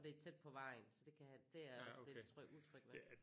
Og det er tæt på vejen så det kan jeg have det er jeg også lidt tryg utryg ved